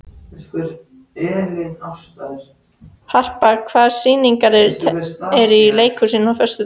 Harpa, hvaða sýningar eru í leikhúsinu á föstudaginn?